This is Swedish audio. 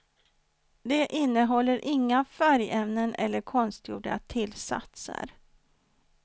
Det innehåller inga färgämnen eller konstgjorda tillsatser.